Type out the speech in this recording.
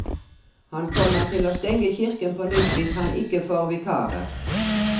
Han kommer til å stenge kirken på nytt hvis han ikke får vikarer.